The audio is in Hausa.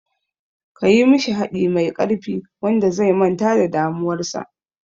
Kayi mishi haɗi mai ƙarfi wanda zai manta da damuwar sa